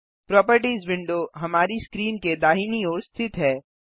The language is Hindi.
प्रोपर्टिज विंडो हमारी स्क्रीन के दाहिनी ओर स्थित है